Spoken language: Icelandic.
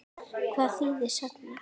Hvað þýða sagnir?